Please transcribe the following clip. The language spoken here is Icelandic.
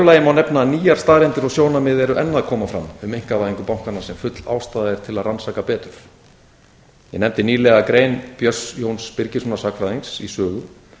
nefna að nýjar staðreyndir og sjónarmið eru enn að koma fram um einkavæðingu bankana sem full ástæða er til að rannsaka betur ég nefndi nýlega grein björns jóns birgisson sagnfræðings í sögu